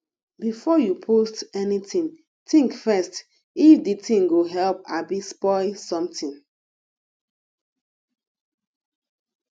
before you post anything think first if de thing go help abi spoil something